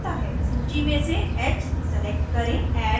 सूची में से h select करें